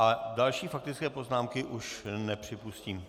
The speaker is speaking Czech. A další faktické poznámky už nepřipustím.